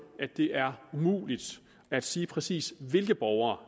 at det er umuligt at sige præcis hvilke borgere